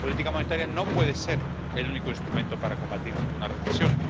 La política monetaria no puede ser el único instrumento para combatir una recesión.